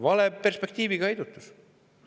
Vale perspektiiviga heidutus!